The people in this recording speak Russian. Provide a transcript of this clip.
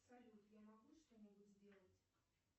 салют я могу что нибудь сделать